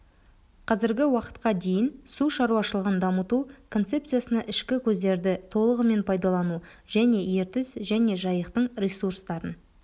қазіргі уақытқа дейін су шаруашылығын дамыту концепциясына ішкі көздерді толығымен пайдалану және ертіс және жайықтың ресурстарын